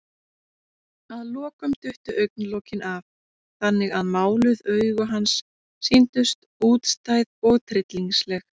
Að lokum duttu augnalokin af, þannig að máluð augu hans sýndust útstæð og tryllingsleg.